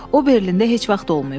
O Berlində heç vaxt olmayıb.